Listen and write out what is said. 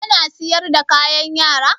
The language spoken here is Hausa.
Ana siyar da kayan Yara?